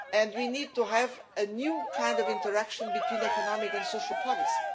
We need to have a new kind of interaction between economic and social policy.